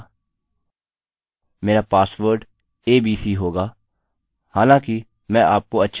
मेरा password abc होगा हालाँकि मैं आपको अच्छे पासवर्ड की सलाह दूँगा